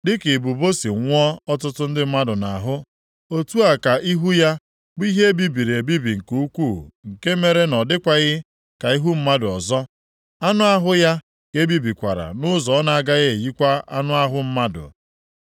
Dịka ibubo si nwụọ ọtụtụ ndị mmadụ nʼahụ; otu a ka ihu ya bụ ihe e bibiri ebibi nke ukwuu, nke mere na ọ dịkwaghị ka ihu mmadụ ọzọ, anụ ahụ ya ka ebibikwara nʼụzọ ọ na-agaghị eyikwa anụ ahụ mmadụ.